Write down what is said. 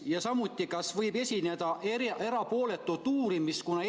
Ja kas ikka võib eeldada erapooletut uurimist?